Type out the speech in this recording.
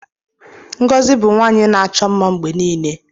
Ngozi bu nwaanyị na-achọ mma mgbe nile